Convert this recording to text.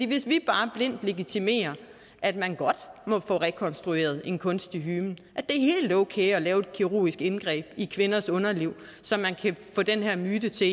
hvis vi bare blindt legitimerer at man får rekonstrueret en kunstig hymen og okay at lave et kirurgisk indgreb i kvinders underliv så man kan få den her myte til